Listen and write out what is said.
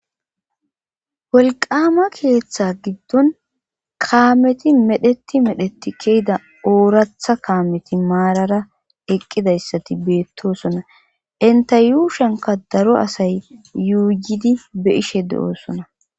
Wolqama keeththe giddon kaameti medhdheti medhdheti ke'idda ooratha kaameti maarara eqqidayssati beettosona enta yuushanka daro asay yuuyidi be'ishshe de'oosona